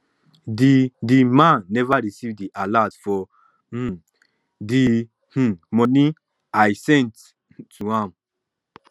the the man never receive the alert for um the um money i sent um to am